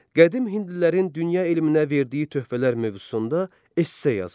Qədim hindlilərin dünya elminə verdiyi töhfələr mövzusunda esse yazın.